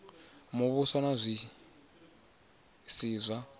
muvhuso na zwi si zwa